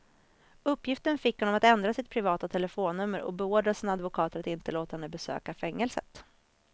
Uppgiften fick honom att ändra sitt privata telefonnummer och beordra sina advokater att inte låta henne besöka fängelset.